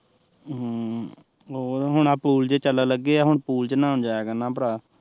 ਹਮ ਹੁਣ ਆਹ ਪੂਲ ਜਹੇ ਚੱਲਣ ਲੱਗੇ ਆ ਹੁਣ ਪੂਲ ਚ ਨਾਉਣ ਜਾਇਆ ਕਰਨਾ ਭਰਾ